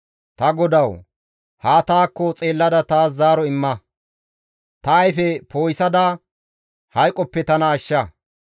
Ta GODAWU! Haa taakko xeellada taas zaaro imma; ta ayfe poo7isada, hayqoppe tana ashsha.